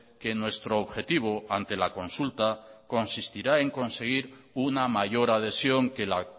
que nuestro objetivo ante la consulta consistirá en conseguir una mayor adhesión que la